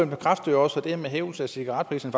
bekræfter jo også at det her med en hævelse af cigaretpriserne